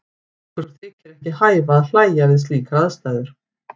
Okkur þykir ekki hæfa að hlæja við slíkar aðstæður.